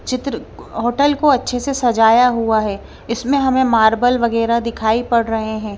चित्र होटल को अच्छे से सजाया हुआ है इसमें हमें मार्बल वगैरह दिखाई पड़ रहे हैं।